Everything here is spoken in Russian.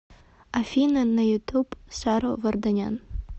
афина на ютуб саро варданян